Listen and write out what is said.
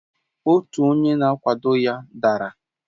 otu onye na-akwado ya dara